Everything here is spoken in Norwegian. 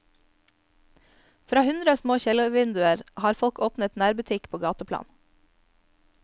Fra hundre små kjellervinduer har folk åpnet nærbutikk på gateplan.